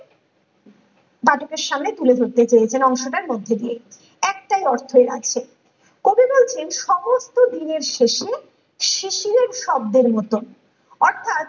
পাঠকের সামনে তুলে ধরতে চেয়েছে অংশটার মধ্য দিয়ে একটাই অর্থ্য এর আছে কবি বলছেন সমস্ত দিনের শেষে শিশিরের শব্দের মতো অর্থ্যাৎ